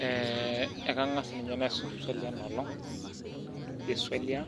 Ee kangas ninye aparu ina olong esualiai